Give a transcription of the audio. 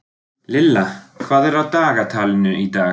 Lilla, hvað er á dagatalinu í dag?